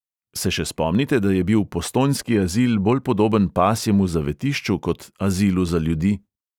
Se še spomnite, da je bil postojnski azil bolj podoben pasjemu zavetišču kot azilu za ljudi?